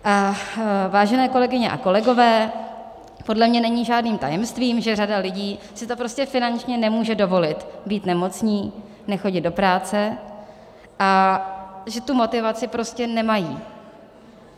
Vážené kolegyně a kolegové, podle mě není žádným tajemstvím, že řada lidí si to prostě finančně nemůže dovolit, být nemocný, nechodit do práce, a že tu motivaci prostě nemají.